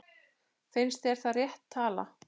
Finnst þér það rétt tala?